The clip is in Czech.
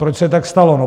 Proč se tak stalo?